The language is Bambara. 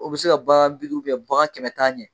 O bɛ se ka bagan bi duuru bagan kɛmɛ tan ɲɛ.